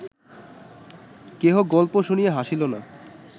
কেহ গল্প শুনিয়া হাসিল না